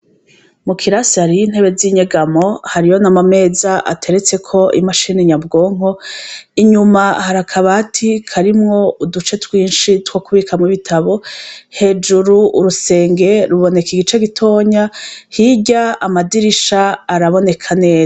Mu kirase hariyo intebe z’inyegamo hariyo n’amameza ateretseko imashini nyabwonko, inyuma hari akabati karimwo uduce twinshi two kubikamwo ibitabo, hejuru urusenge ruboneka igice gitoya, hirya amadirisha araboneka neza.